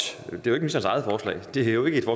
det er jo ikke